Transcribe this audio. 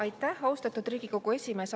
Aitäh, austatud Riigikogu esimees!